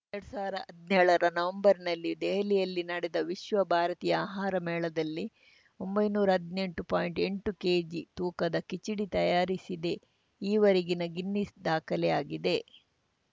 ಎರಡ್ ಸಾವಿರ್ದಾ ಹದ್ನೇಳರ ನವೆಂಬರ್‌ನಲ್ಲಿ ದೆಹಲಿಯಲ್ಲಿ ನಡೆದ ವಿಶ್ವ ಭಾರತೀಯ ಆಹಾರ ಮೇಳದಲ್ಲಿ ಒಂಬೈನೂರಾ ಹದ್ನೆಂಟು ಪಾಯಿಂಟ್ಎಂಟು ಕೆಜಿ ತೂಕದ ಕಿಚಡಿ ತಯಾರಿಸಿದ್ದೇ ಈವರೆಗಿನ ಗಿನ್ನೆಸ್‌ ದಾಖಲೆಯಾಗಿದೆ